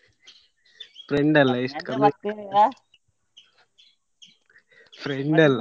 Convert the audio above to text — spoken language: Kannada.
Friend ಅಲ್ಲ ಎಷ್ಟ್ friend ಅಲ್ಲ.